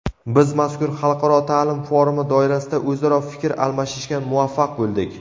Biz mazkur xalqaro ta’lim forumi doirasida o‘zaro fikr almashishga muvaffaq bo‘ldik.